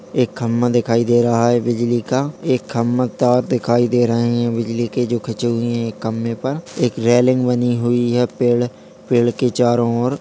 एक खंभा दिखाई दे रहा है बिजली का एक खंभा तार दिखाई दे रहे है बिजली के जो खींचे हुए हैं एक खंभे पर एक रेलिंग बनी हुई है पेड़-पेड़ के चारों और --